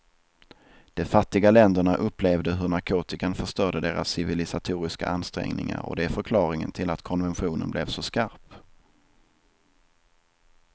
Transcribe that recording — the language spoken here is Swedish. De fattiga länderna upplevde hur narkotikan förstörde deras civilisatoriska ansträngningar och det är förklaringen till att konventionen blev så skarp.